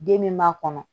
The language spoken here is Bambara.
Den min b'a kɔnɔ